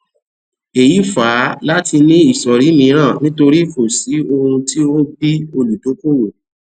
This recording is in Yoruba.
èyí fà á láti ní ìsọrí mìíràn nítorì kò sí ohun tí o bí olùdókòwò